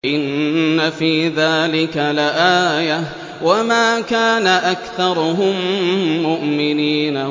إِنَّ فِي ذَٰلِكَ لَآيَةً ۖ وَمَا كَانَ أَكْثَرُهُم مُّؤْمِنِينَ